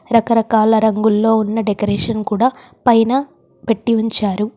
రకరకాల రంగుల్లో ఉన్న డెకరేషన్ కూడా పైన పెట్టి ఉంచారు.